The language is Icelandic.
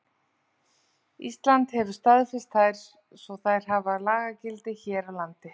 Ísland hefur staðfest þær svo þær hafa lagagildi hér á landi.